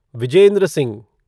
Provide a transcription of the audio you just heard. Vijendra Singh